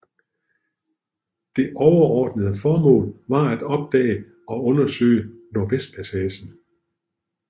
Det overordnede formål var at opdage og undersøge Nordvestpassagen